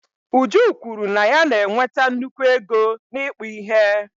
Uju kwuru na ya na-enweta nnukwu ego n'ịkpụ ihe.